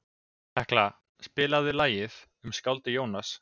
Hekla, spilaðu lagið „Um skáldið Jónas“.